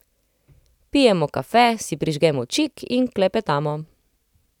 Pijemo kafe, si prižgemo čik in klepetamo.